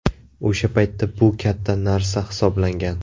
O‘sha paytda bu katta narsa hisoblangan.